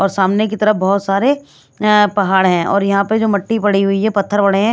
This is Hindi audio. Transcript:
और सामने की तरफ बहुत सारे ए पहाड़ हैं और यहाँ पर जो मट्टी पड़ी हुई है पत्थर पड़े हैं ।